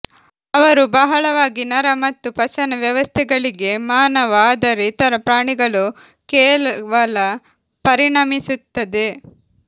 ಅವರು ಬಹಳವಾಗಿ ನರ ಮತ್ತು ಪಚನ ವ್ಯವಸ್ಥೆಗಳಿಗೆ ಮಾನವ ಆದರೆ ಇತರ ಪ್ರಾಣಿಗಳು ಕೇವಲ ಪರಿಣಮಿಸುತ್ತದೆ